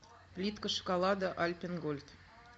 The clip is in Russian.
плитка шоколада альпен гольд